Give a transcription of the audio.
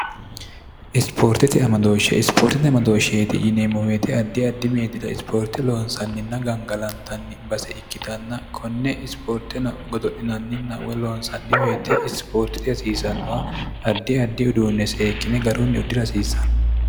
isipoortete amadooshshe isipoortite amodooshsheeti yineemmo woyte addi addi meedira isipoorte loonsanninna gangalantanni base ikkitanna konne isipoorteno godo'linanninna woy loonsanni woyte isipoortete hasiisannoha ardi addi uduunne seekkine garunni uddira hasiisanno